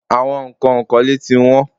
Àwọn nǹkan ìkọ́lé tí wọ́n.